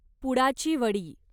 पुडाची वडी